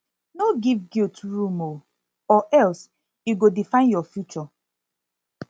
no giv guilt room o or or else e go define yur future